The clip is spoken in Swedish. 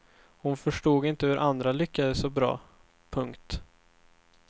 Hon förstod inte hur andra lyckades så bra. punkt